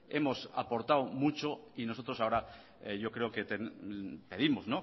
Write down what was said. hemos aportado mucho y nosotros ahora yo creo que pedimos